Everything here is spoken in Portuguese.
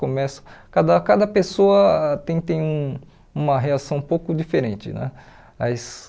Começa cada cada pessoa tem tem um uma reação um pouco diferente né. As